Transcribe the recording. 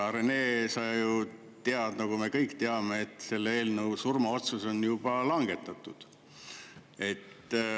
Rene, sa ju tead, nagu me kõik teame, et selle eelnõu surmaotsus on juba langetatud.